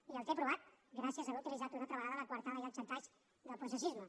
i el té aprovat gràcies a haver utilitzat una altra vegada la coartada i el xantatge del processisme